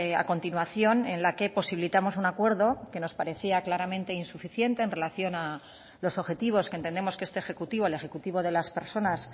a continuación en la que posibilitamos un acuerdo que nos parecía claramente insuficiente en relación a los objetivos que entendemos que este ejecutivo el ejecutivo de las personas